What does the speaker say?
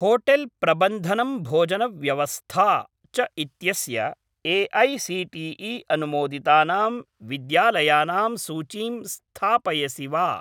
Hotel प्रबन्धनं भोजनव्यवस्था च इत्यस्य ए.ऐ.सी.टी.ई. अनुमोदितानां विद्यालयानां सूचीं स्थापयसि वा?